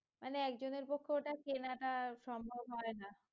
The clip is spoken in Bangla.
মানে একজনের পক্ষে ওটা কেনা টা সম্ভব হয়না